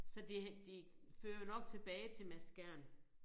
Så det det fører jo nok tilbage til Mads Skjern